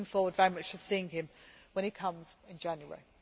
deal. I am looking forward very much to seeing him when he comes in January.